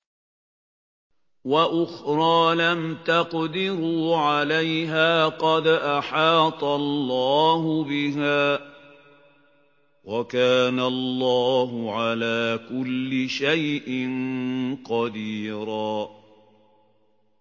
وَأُخْرَىٰ لَمْ تَقْدِرُوا عَلَيْهَا قَدْ أَحَاطَ اللَّهُ بِهَا ۚ وَكَانَ اللَّهُ عَلَىٰ كُلِّ شَيْءٍ قَدِيرًا